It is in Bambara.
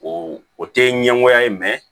O o tɛ ɲɛngoya ye